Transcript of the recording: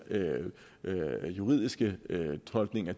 juridiske tolkninger